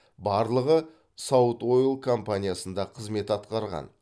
барлығы саут ойл компаниясында қызмет атқарған